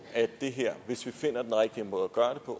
at det her hvis vi finder den rigtige måde